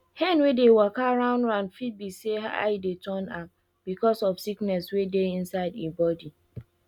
hen wey dey waka round round fit be say eye dey turn am becos of sickness wey dey inside e body